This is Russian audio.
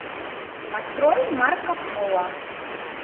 открой марко поло